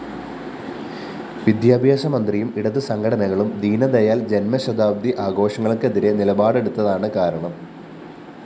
വിദ്യാഭ്യാസമന്ത്രിയും ഇടത് സംഘടനകളും ദീനദയാല്‍ ജന്മശതാബ്ദി ആഘോഷങ്ങള്‍ക്കെതിരെ നിലപാടെടുത്തതാണ് കാരണം